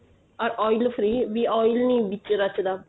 or oil free oil ਨੀਂ ਵਿੱਚ ਰਚਦਾ